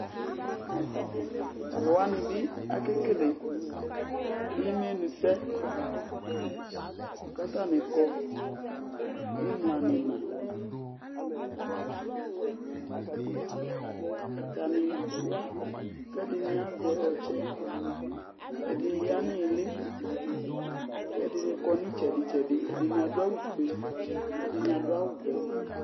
Tʋ alʋ wanɩ bɩ akekele imenusɛ kʋ atanɩ kɔ ɩmla nʋ ɩɣɩna Atanɩ ya kʋ ɛdɩnɩ azɛ ɔtsɛ Ɛdɩnɩ ya nʋ ɩɩlɩ kʋ ɛdɩnɩ kɔ nʋ ɩtsɛdɩ-tsɛdɩ Ɛdɩnɩ adʋ awʋfue kʋ ɛdɩnɩ adʋ awʋvɛ